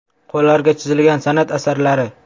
Qo‘llarga chizilgan san’at asarlari.